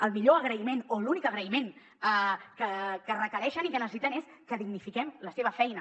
el millor agraïment o l’únic agraïment que requereixen i que necessiten és que dignifiquem la seva feina